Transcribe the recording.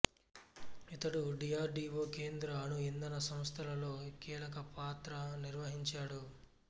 ఇతడు D R D O కేంద్ర అణు ఇందన సంస్థలలో కీలక పాత్ర నిర్వహించాడు